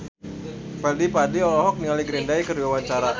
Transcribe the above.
Fadly Padi olohok ningali Green Day keur diwawancara